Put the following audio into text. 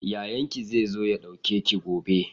Yayan ki zai zo ya ɗauke ki e gobe?